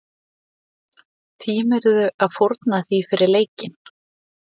Tímirðu að fórna því fyrir leikinn?